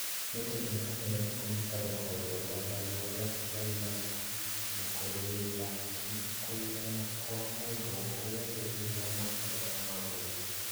Nĩtũ rathii mbere na kũnyita mbaru rũhonge rwa Black Live Matters na kũrũĩrĩra kũigana Kwa mũndũ o wothe thĩinĩ wa mũbira wa magũrũ